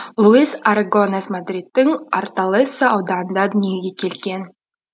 луис арагонес мадриттің орталесса ауданында дүниеге келген